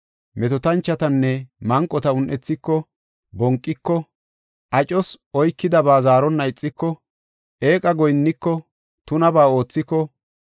metootanchotanne manqota un7ethiko, bonqiko, acos oykidaba zaaronna ixiko, eeqa goyinniko, tunabaa oothiko,